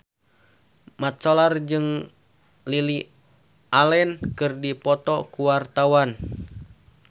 Mat Solar jeung Lily Allen keur dipoto ku wartawan